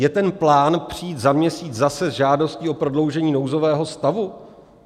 Je ten plán přijít za měsíc zase s žádostí o prodloužení nouzového stavu?